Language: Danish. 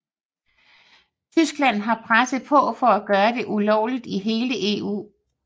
Tyskland har presset på for at gøre det ulovligt i hele EU